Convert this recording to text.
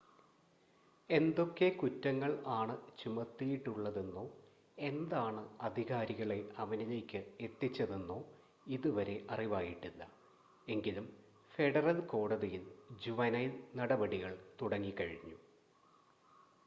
എന്തൊക്കെ കുറ്റങ്ങൾ ആണ് ചുമത്തിയിട്ടുള്ളതെന്നോ എന്താണ് അധികാരികളെ അവനിലേക്ക് എത്തിച്ചതെന്നോ ഇതുവരെ അറിവായിട്ടില്ല എങ്കിലും ഫെഡറൽ കോടതിയിൽ ജുവൈനൽ നടപടികൾ തുടങ്ങി കഴിഞ്ഞു